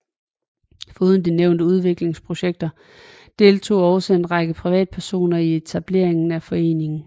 Foruden de nævnte udviklingsprojekter deltog også en række privatpersoner i etableringen af foreningen